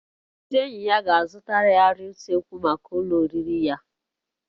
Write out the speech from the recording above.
Ndị enyi ya ga-azụta arịa usekwu maka ụlọ oriri ya